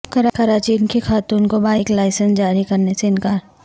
کراچی کی خاتون کو بائیک لائسنس جاری کرنے سے انکار